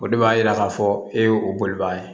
O de b'a yira k'a fɔ e ye o bolibaga ye